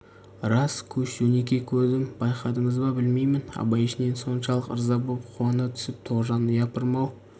рас көш жөнекей көрдім байқадыңыз ба білмеймін абай ішінен соншалық ырза боп қуана түсіп тоғжан япырмау